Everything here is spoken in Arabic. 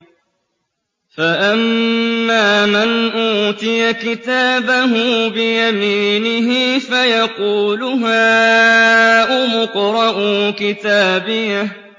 فَأَمَّا مَنْ أُوتِيَ كِتَابَهُ بِيَمِينِهِ فَيَقُولُ هَاؤُمُ اقْرَءُوا كِتَابِيَهْ